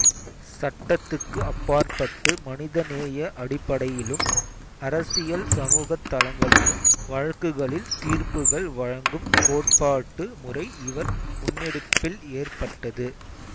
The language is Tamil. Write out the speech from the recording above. சட்டத்துக்கு அப்பாற்பட்டு மனிதநேய அடிப்படையிலும் அரசியல் சமூகத் தளங்களிலும் வழக்குகளில் தீர்ப்புகள் வழங்கும் கோட்பாட்டு முறை இவர் முன்னெடுப்பில் ஏற்பட்டது